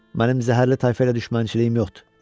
Mənim zəhərli tayfa ilə düşmənçiliyim yoxdur.